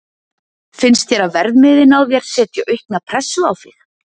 Finnst þér að verðmiðinn á þér setji aukna pressu á þig?